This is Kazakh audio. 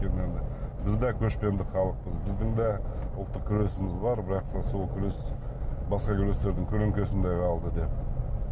өйткені енді біз де көшпенді халықпыз біздің де ұлттық күресіміз бар бірақ та сол күрес басқа күрестердің көлеңкесінде қалды деп